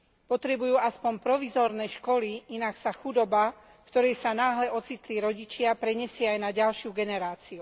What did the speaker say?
Potrebujú aspoň provizórne školy, inak sa chudoba, v ktorej sa náhle ocitli rodičia, prenesie aj na ďalšiu generáciu.